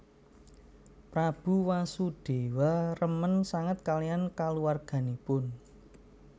Prabu Wasudewa remen sanget kaliyan kulawarganipun